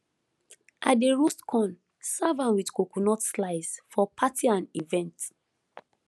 i dey roast corn serve am with coconut slice for party and event